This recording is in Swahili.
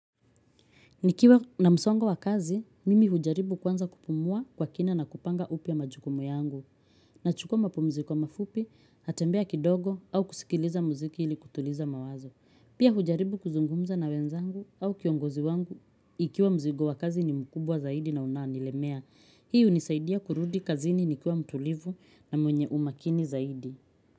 Nikiwa na msongo wa kazi, mimi hujaribu kwanza kupumua kwa kina na kupanga upya majukumu yangu. Nachukua mapumziko mafupi, natembea kidogo au kusikiliza muziki ili kutuliza mawazo. Pia hujaribu kuzungumza na wenzangu au kiongozi wangu ikiwa mzigo wa kazi ni mkubwa zaidi na unanilemea. Hii hunisaidia kurudi kazini nikiwa mtulivu na mwenye umakini zaidi.